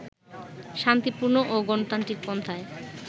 শান্তিপূর্ণ ও গণতান্ত্রিক পন্থায়